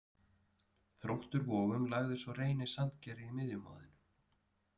Þróttur Vogum lagði svo Reyni Sandgerði í miðjumoðinu.